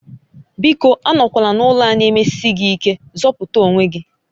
Biko anọkwala n'ụlọ a na-emeshi gị ike, zọpụta onwe gị